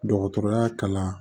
Dɔgɔtɔrɔya kalan